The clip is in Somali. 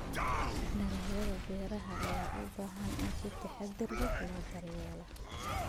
Dalagyada beeraha ayaa u baahan in si taxadar leh loo daryeelo.